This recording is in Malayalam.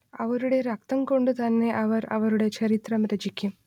അവരുടെ രക്തം കൊണ്ട് തന്നെ അവർ അവരുടെ ചരിത്രം രചിക്കും